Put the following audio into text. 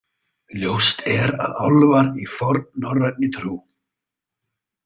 Ljóst er að álfar í fornnorræni trú.